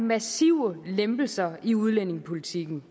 massive lempelser i udlændingepolitikken